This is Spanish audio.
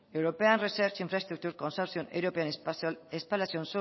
european research infrastructure consortium european spallation